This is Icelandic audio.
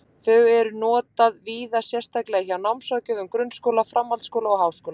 Þau eru notað víða, sérstaklega hjá námsráðgjöfum grunnskóla, framhaldsskóla og háskóla.